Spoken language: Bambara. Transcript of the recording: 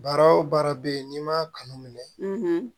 Baara o baara bɛ yen n'i ma kanu minɛ